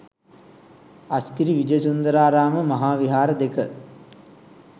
අස්ගිරි විජයසුන්දරාරාම මහා විහාර දෙක